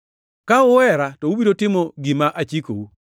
“Ka uhera to ubiro timo gima achikou.